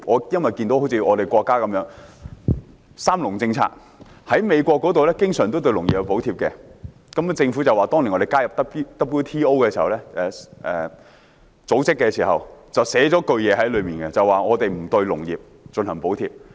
我看到我們的國家有三農政策，而美國經常對農業進行補貼，但香港政府說當年加入世界貿易組織時，寫明不會對農業進行補貼。